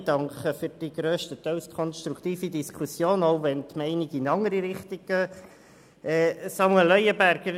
Ich danke für die grösstenteils konstruktive Diskussion, auch wenn die Meinungen in eine andere Richtung gehen.